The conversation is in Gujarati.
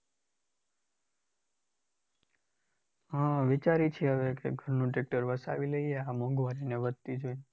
હા વિચારીએ છે કે હવે ઘરનું tractor વસાવી લઈએ આ મોંઘવારી વધતી જોઈને છે